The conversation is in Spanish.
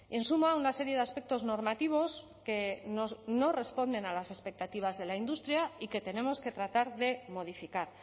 en suma una serie de aspectos normativos que no responden a las expectativas de la industria y que tenemos que tratar de modificar